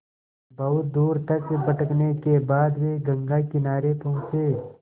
बहुत दूर तक भटकने के बाद वे गंगा किनारे पहुँचे